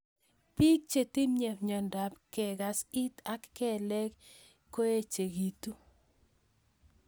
Piik chhetinye miondop kekas it ak kelek ye kaoechekitu